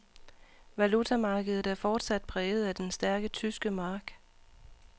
Valutamarkedet er fortsat præget af den stærke tyske mark.